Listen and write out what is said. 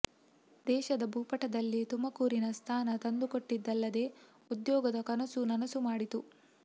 ದೇಶದ ಭೂಪಟದಲ್ಲಿ ತುಮಕೂರಿಗೆ ಸ್ಥಾನ ತಂದುಕೊಟ್ಟಿದ್ದಲ್ಲದೇ ಉದ್ಯೋಗದ ಕನಸು ನನಸು ಮಾಡಿತು